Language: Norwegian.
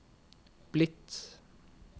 blitt